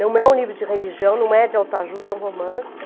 Não é um livro de religião, não é de autoajuda, é um romance.